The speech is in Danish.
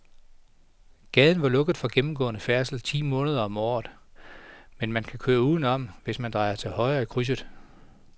Gaden er lukket for gennemgående færdsel ti måneder om året, men man kan køre udenom, hvis man drejer til højre i krydset.